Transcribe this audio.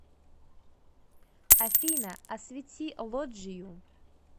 афина освети лоджию